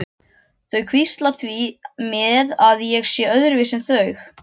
Þau hvísla því með að ég sé öðruvísi en þau.